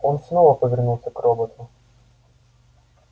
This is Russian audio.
он снова повернулся к роботу